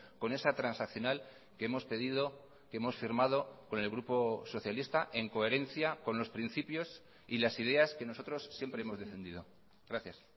con esa transaccional que hemos pedido que hemos firmado con el grupo socialista en coherencia con los principios y las ideas que nosotros siempre hemos defendido gracias